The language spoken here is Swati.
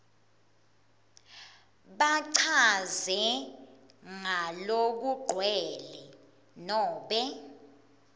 bachaze ngalokugcwele nobe